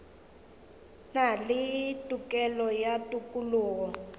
na le tokelo ya tokologo